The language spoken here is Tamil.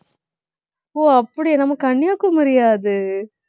ஓ, அப்படியா நம்ம கன்னியாகுமரியா அது